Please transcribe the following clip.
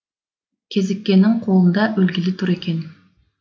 кезіккеннің қолында өлгелі тұр екен